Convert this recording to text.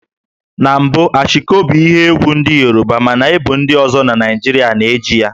Na mbụ Ashiko bụ ihe egwú ndị Yoruba mana ebo ndi ozo na Naịjirịa na-eji ya